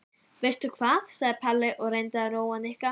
Veistu hvað? sagði Palli og reyndi að róa Nikka.